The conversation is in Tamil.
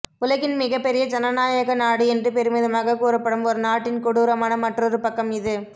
உலகின் மிகப் பெரிய ஜனநாயக நாடு என்று பெருமிதமாகக் கூறப்படும் ஒரு நாட்டின் கொடூரமான மற்றொரு பக்கம் இது